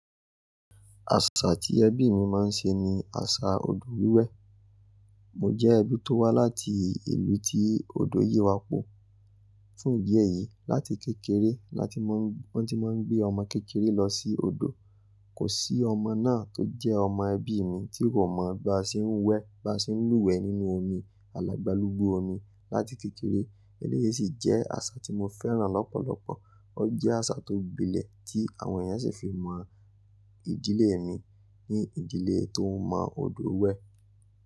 Àṣà tí ẹbí mi máa ń ṣe ni àṣà odò wíwẹ̀. Mo jẹ́ ẹbí tó wá láti ìlú tí odò yíwa po. Fún ìdí èyí, láti kékeré láti máa n ni wọ́n ti máa ń gbé ọmọ kékeré lọ sí odò. Kò sí ọmọ náà tó jẹ́ ọmọ ẹbí mi tí kò mọ bá ṣe ń wẹ, bá ṣe ń lúwẹ̀ nínú omi, alàgbà lúgbo omi láti kékeré. Eléyìí sì jẹ́ àṣà tí mo fẹ́ràn lọ́pọ̀lọpọ̀. Ó jẹ́ àṣà tó gbilẹ̀ tí àwọn ènìyàn sì fi mọ ìdílé mi ní ìdílé tó mọ odò wẹ̀.